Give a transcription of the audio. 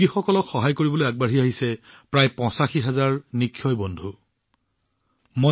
ৰোগীক দত্তক লোৱা হৈছে আৰু এই দাতব্য কাম প্ৰায় ৮৫ হাজাৰ নিক্ষয় বন্ধুৱে কৰিছে